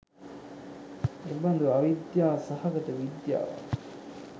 එබඳු අවිද්‍යා සහගත විද්‍යාවක්